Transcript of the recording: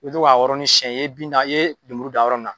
I bɛ yɔrɔnin siyɛn ye bin da i ye lemuru dan yɔrɔ min na.